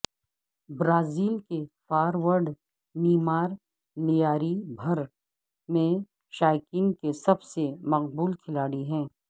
Brazil کے forward Neymar Lyari بھر میں شائقین کے سب سے مقبول کھلاڑی ہیں